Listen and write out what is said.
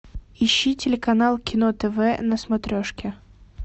ищи телеканал кино тв на смотрешке